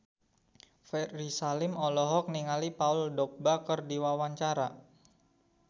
Ferry Salim olohok ningali Paul Dogba keur diwawancara